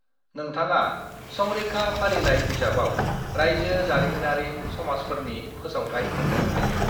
नोंथाङा संरैखा फारिलाइ बिजाबाव रायजो जारिमिनारि समाजफोरनि फोसावथाइ मोननो हायो।